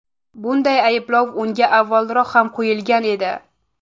Bunday ayblov unga avvalroq ham qo‘yilgan edi.